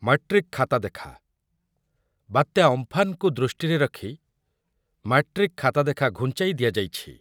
Matric ଖାତା ଦେଖା, ବାତ୍ୟା ଅମ୍ଫାନ୍ କୁ ଦୃଷ୍ଟିରେ ରଖି ମାଟ୍ରିକ୍ ଖାତା ଦେଖା ଘୁଞ୍ଚାଇ ଦିଆଯାଇଛି।